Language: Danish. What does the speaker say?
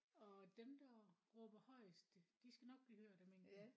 Og dem der råber højest de skal nok blive hørt af mængden